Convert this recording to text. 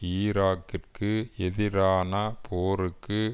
ஈராக்கிற்கு எதிரான போருக்கு